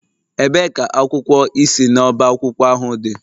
Ebee ka akwụkwọ ị si n'ọba akwụkwọ ahụ dị?